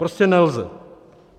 Prostě nelze.